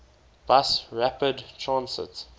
bus rapid transit